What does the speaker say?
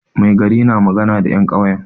Mai gari na magana da 'yan kyauyen.